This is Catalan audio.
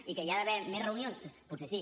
i que hi ha d’haver més reunions potser sí